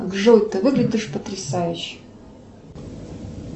джой ты выглядишь потрясающе